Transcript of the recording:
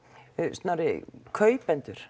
Snorri kaupendur